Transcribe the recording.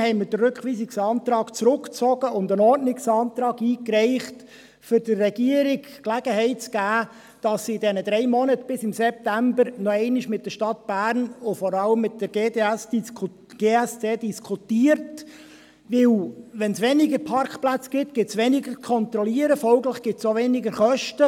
Daher haben wir den Rückweisungsantrag zurückgezogen und einen Ordnungsantrag eingereicht, um der Regierung die Gelegenheit zu geben, dass sie in den drei Monaten bis zum September noch einmal mit der Stadt Bern und vor allem mit der GSD Gayret Security AG (GSD) diskutiert, denn wenn es weniger Parkplätze gibt, gibt es weniger Kontrollen, und folglich gibt es auch weniger Kosten.